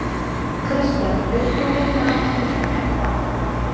Kristján: Vilt þú vinna að því að snúa til baka?